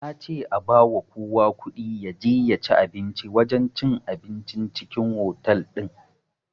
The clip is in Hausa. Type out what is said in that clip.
Nace a bawa kowa kuɗi yaje yaci abinci a wajen cin abincin cikin otal din